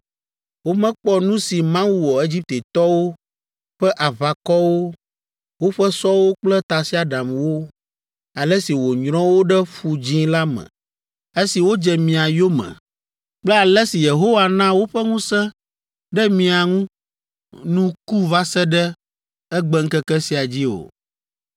Womekpɔ nu si Mawu wɔ Egiptetɔwo ƒe aʋakɔwo, woƒe sɔwo kple tasiaɖamwo, ale si wònyrɔ wo ɖe Ƒu Dzĩ la me esi wodze mia yome kple ale si Yehowa na woƒe ŋusẽ ɖe mia ŋu nu ku va se ɖe egbeŋkeke sia dzi o!